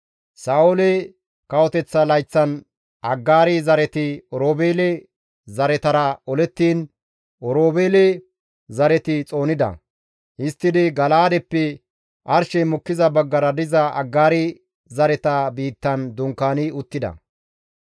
Sa7oole kawoteththa layththan Aggaari zareti Oroobeele zaretara olettiin Oroobeele zareti xoonida; histtidi Gala7aadeppe arshey mokkiza baggara diza Aggaari zareta biittan dunkaani uttida.